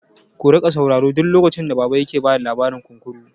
Ku riƙa saurara duk lokacin da baba yake bada labarin kunkuru!